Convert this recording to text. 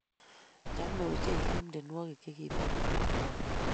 Chame ochei Kim tyenwogik chegibo keny